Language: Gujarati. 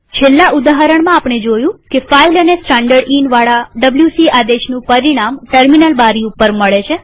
છેલ્લા ઉદાહરણમાં આપણે જોયું કે ફાઈલ અને standardinવાળા ડબ્લ્યુસી આદેશનું પરિણામ ટર્મિનલ બારી ઉપર મળે છે